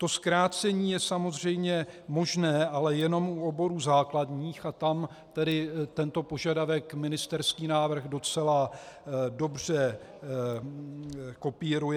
To zkrácení je samozřejmě možné, ale jenom u oborů základních, a tam tedy tento požadavek ministerský návrh docela dobře kopíruje.